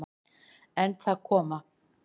En það koma